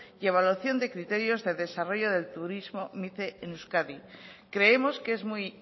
y evaluación de criterios de desarrollo de turismo mice en euskadi creemos que es muy